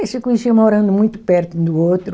Eles se conheciam morando muito perto um do outro.